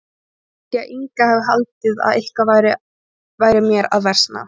Þá held ég að Inga hafi haldið að eitthvað væri mér að versna.